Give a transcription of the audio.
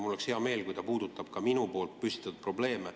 Mul oleks hea meel, kui ta puudutaks ka minu püstitatud probleeme.